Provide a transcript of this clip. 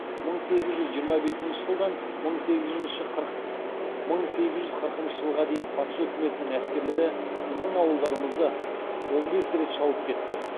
мың сегіз жүз жиырма бесінші жылдан мың сегіз жүз қырықыншы жылға дейін патша өкіметінің әскерлері біздің ауылдарымызды он бес рет шауып кетті